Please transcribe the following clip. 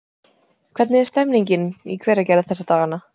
Hvernig er stemmningin í Hveragerði þessa dagana?